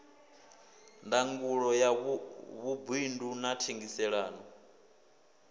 ndangulo ya vhuṱundi na thengiselonn